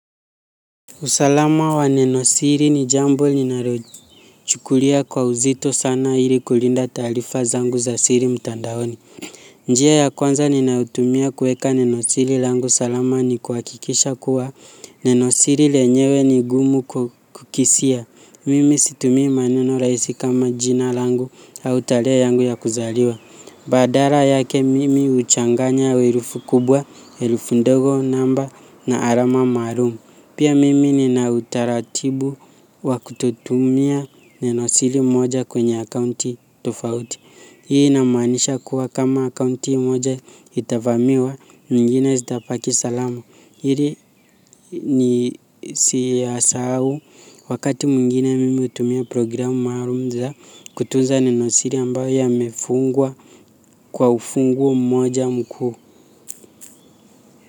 Usalama wa nenosiri ni jambo ninalochukulia kwa uzito sana ili kulinda taarifa zangu za siri mtandaoni. Njia ya kwanza ninayotumia kuweka nenosiri langu salama ni kuhakikisha kuwa nenosiri lenyewe ni gumu kukisia. Mimi situmii maneno rahisi kama jina langu au tarehe yangu ya kuzaliwa. Badala yake mimi huchanganya herufi kubwa, herufi ndogo namba na alama maalumu. Pia mimi nina utaratibu wa kutotumia nenosili moja kwenye akaunti tofauti. Hii inamaanisha kuwa kama akaunti moja itavamiwa nyingine zitabaki salama. Ili nisiyasahau wakati mwingine mimi hutumia programu maalum za kutunza nenosili ambayo yamefungwa kwa ufunguo mmoja mkuu.